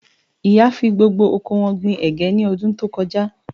Ìyá fi gbogbo oko wọn gbin ẹ̀gẹ́ ní ọdún tó kọjá